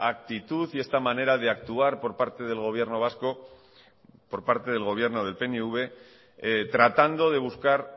actitud y esta manera de actuar por parte del gobierno vasco por parte del gobierno del pnv tratando de buscar